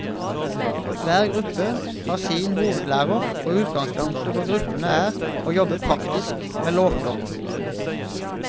Hver gruppe har sin hovedlærer, og utgangspunktet for gruppene er å jobbe praktisk med låter.